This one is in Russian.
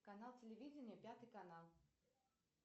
канал телевидения пятый канал